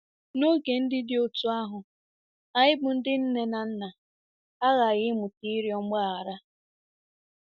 N'oge ndị dị otú ahụ, anyị bụ́ ndị nne na nna aghaghị ịmụta ịrịọ mgbaghara.